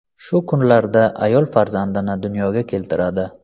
Shu kunlarda ayol farzandini dunyoga keltiradi.